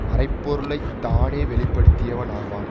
மறைபொருளைத்தானே வெளிப்படுத்தியவன் ஆவான்